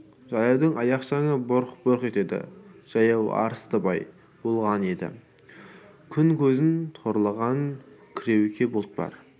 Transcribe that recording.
жаяудың аяқ шаңы бұрқ-бұрқ етеді жаяу арыстыбай болған еді күн көзін торлаған кіреуке бұлт бар